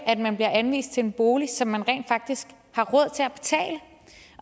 at man bliver anvist til en bolig som man rent faktisk